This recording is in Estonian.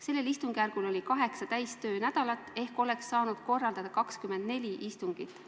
Sellel istungjärgul oli kaheksa täistöönädalat ehk oleks saanud korraldada 24 istungit.